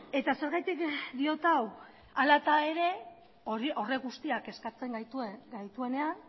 eta zergatik diot hau hara ere horrek guztiak kezkatzen gaituenean